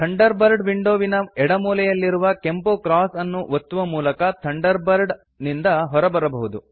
thunder bird window ವಿನ ಎಡ ಮೂಲೆಯಲ್ಲಿರುವ ಕೆಂಪು ಕ್ರಾಸ್ ಅನ್ನು ಒತ್ತುವ ಮೂಲಕ ಥಂಡರ್ ಬರ್ಡ್ ನಿಂದ ಹೊರಬರಬಹುದು